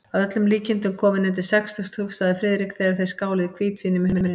Að öllum líkindum kominn undir sextugt, hugsaði Friðrik, þegar þeir skáluðu í hvítvíni með humrinum.